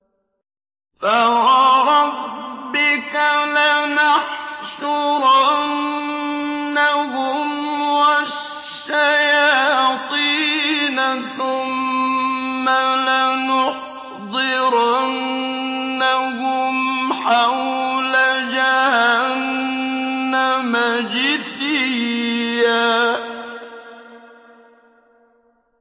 فَوَرَبِّكَ لَنَحْشُرَنَّهُمْ وَالشَّيَاطِينَ ثُمَّ لَنُحْضِرَنَّهُمْ حَوْلَ جَهَنَّمَ جِثِيًّا